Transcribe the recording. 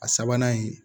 A sabanan ye